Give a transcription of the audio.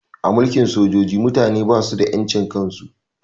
A mulkin sojoji mutane basu da ƴan cin kan su